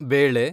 ಬೇಳೆ